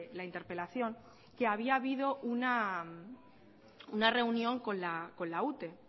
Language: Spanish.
la interpelación que había habido una reunión con la ute